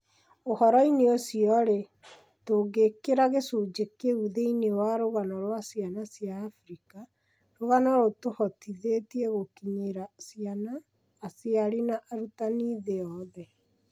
Ũhoroinĩ ũcio rĩ, tũgĩĩkĩra gĩcunjĩ kĩu thĩinĩ wa rũgano rwa ciana cia Abirika , rũgano rũtũhotithĩtie gũkinyĩra ciana, aciari na arutani thĩ yothe.